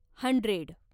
hundred